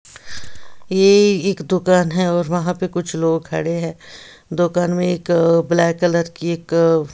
ये एक दुकान है और वहाँ पे कुछ लोग खड़े हैं दोकान में एक ब्लैक कलर की एक --